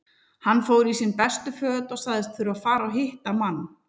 Hann fór í sín bestu föt og sagðist þurfa að fara og hitta mann.